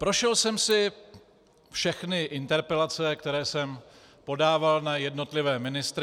Prošel jsem si všechny interpelace, které jsem podával na jednotlivé ministry.